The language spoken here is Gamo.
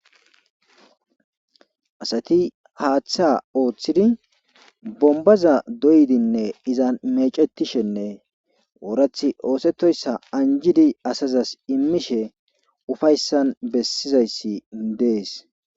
asati haaththa ooththidi bombaza doydinne iza mecetishenne oorath oosetoyssa anjidi asazas immishe ufayssan bessizayssi dees